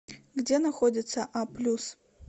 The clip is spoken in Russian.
где находится а плюс